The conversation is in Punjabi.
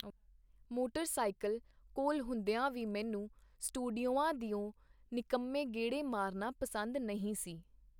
ਮੋਟਰ ਸਾਈਕਲ ਕੋਲ ਹੁੰਦੀਆਂ ਵੀ ਮੈਨੂੰ ਸਟੂਡੀਓਆਂ ਦਿਓ ਨਿਕੰਮੇ ਗੇੜੇ ਮਾਰਨਾ ਪਸੰਦ ਨਹੀਂ ਸੀ.